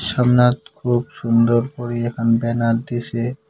সামনাত খুব সুন্দর করি এখান ব্যানার দিসে।